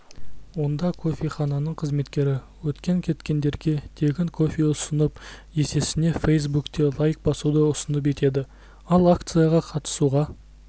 онда кофехананың қызметкері өткен-кеткендерге тегін кофе ұсынып есесіне фейсбукте лайк басуды ұсыныс етеді ал акцияға қатысуға